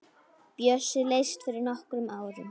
Bjössi lést fyrir nokkrum árum.